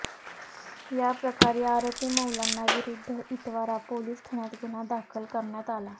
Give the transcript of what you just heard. या प्रकारी आरोपी मौलाना विरुद्ध इतवारा पोलीस ठाण्यात गुन्हा दाखल करण्यात आला